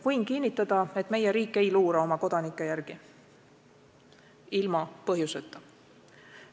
Võin kinnitada, et meie riik ei luura oma kodanike järel ilma põhjuseta.